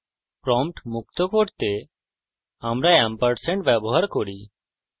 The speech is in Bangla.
প্রম্পট মুক্ত করতে আমরা ampersand & ব্যবহার করি